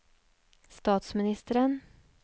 statsministeren